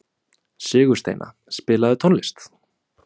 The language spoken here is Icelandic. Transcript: Sigursteina, spilaðu tónlist.